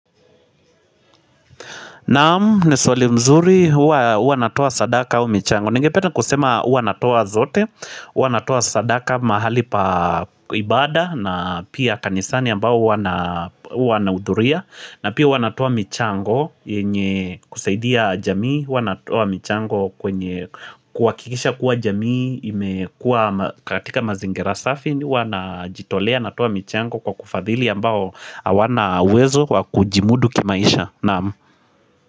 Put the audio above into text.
Naam, ni swali mzuri, huwa natoa sadaka au michango Ningependa kusema uwa natoa zote, huwa natoa sadaka mahali pa ibada na pia kanisani ambao huwa nahudhuria na pia huwa natoa michango, yenye kusaidia jamii huwa natoa michango kwenye kuhakikisha kuwa jamii imekua katika mazingira safi huwa najitolea natoa michango kwa kufadhili ambao hawana uwezo kwa kujimudu kimaisha. Naam.